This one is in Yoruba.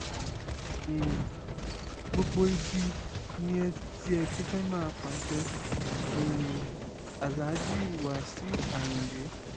um gbogbo ibi ni ẹ ti ẹ ti fẹ́ máa pàṣẹ um aláàjì wàṣìù ayíǹde